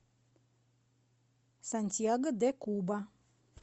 сантьяго де куба